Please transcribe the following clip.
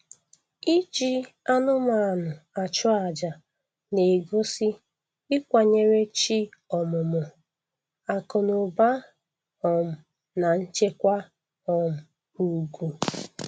Iji anụmanụ achụ aja na-egosi ịkwanyere chi ọmụmụ, akụnụba um na nchekwa um ugwu